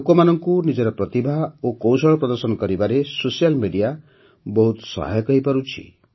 ଲୋକମାନଙ୍କୁ ନିଜର ପ୍ରତିଭା ଓ କୌଶଳ ପ୍ରଦର୍ଶନ କରିବାରେ ସୋସିଆଲ୍ ମେଡିଆ ବହୁତ ସହାୟକ ହୋଇପାରୁଛି